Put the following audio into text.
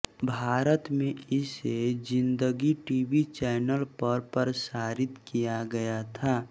भारत में इसे Zindagi TV channel पर प्रसारित किया गया था